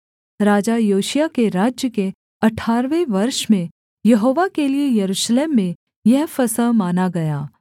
राजा योशिय्याह के राज्य के अठारहवें वर्ष में यहोवा के लिये यरूशलेम में यह फसह माना गया